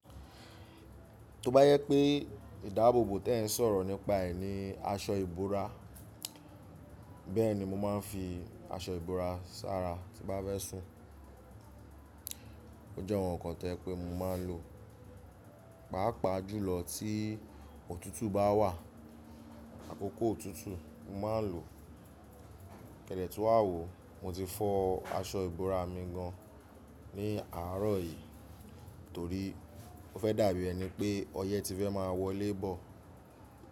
To bá jẹ pé ìdáàbòbò tẹ n sọ̀rọ̀ nípa ẹ̀ ni aṣọ ìbora, bẹ́ẹ̀ni mo ma ń fi aṣọ ìbora sára tí n bá fẹ́ sùn. Ó jẹ́ awon nkan to je pé mo ma ń lò, pàápàá jùlọ tí òtútù bá wà, àkókò òtútù mo ma ń lò. Kẹ́dẹ̀ tun wà wó, mo ti fọ aṣọ ìbora mi gan ní àárọ̀ yìí torí ó fẹ́ dàbí ẹni pé ọyẹ́ ti fẹ́ má a wọlé bọ̀